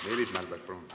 Meelis Mälberg, palun!